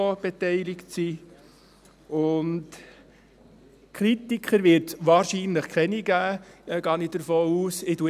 Ich gehe davon aus, dass es wahrscheinlich keine Kritiker geben wird.